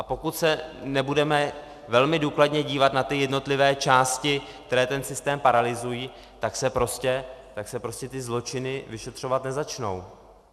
A pokud se nebudeme velmi důkladně dívat na ty jednotlivé části, které ten systém paralyzují, tak se prostě ty zločiny vyšetřovat nezačnou.